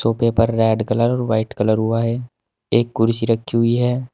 और paper red colour और white colour हुआ है एक कुर्सी रखी हुई है।